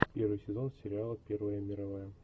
первый сезон сериала первая мировая